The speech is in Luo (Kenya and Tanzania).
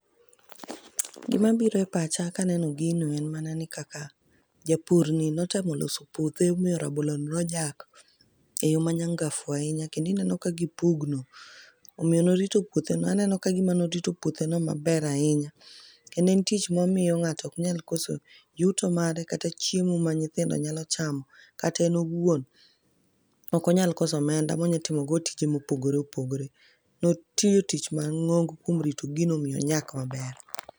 Gima biro e pacha ka aneno gino en mana ni kaka japurni notemo oloso puothe ma raboloni nonyak e yo ma nyangafu ahinya. Kendo ineno ka gi pugno. Omiyo ne orito puothe no. Aneno ka gima ne orito puothe no maber ahinya. Kendo en tich mamiyo ngáto oknyal koso yuto mare, kata chiemo ma nyithindo nyalo chamo. Kat en owuon, ok onyal koso omenda ma onyalo timo go tije ma opogore opogore. Ne otiyo tich mangóngo kuom rito gino omiyo onyak maber.